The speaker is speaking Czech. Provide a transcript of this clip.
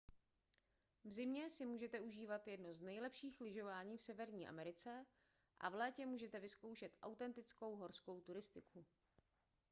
v zimě si můžete užívat jedno z nejlepších lyžování v severní americe a v létě můžete vyzkoušet autentickou horskou cyklistiku